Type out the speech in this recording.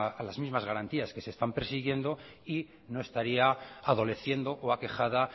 a las mismas garantías que se están persiguiendo y no estaría adoleciendo o aquejada